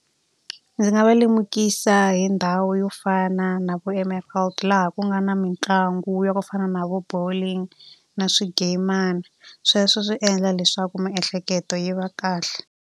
Ndzi nga va lemukisa hi ndhawu yo fana na vo laha ku nga na mitlangu yo fana na vo bowling na swigeyimana. Sweswo swi endla leswaku miehleketo yi va kahle.